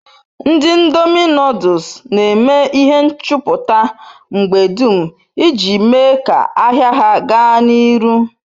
Ndi ndomi noduls n'eme ihe nchuputa mgbe dum iji mee ka-ahia ha gaa n'iru